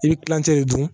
I bɛ kilancɛ de dun